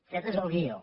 aquest és el guió